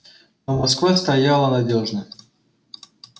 но москва стояла надёжно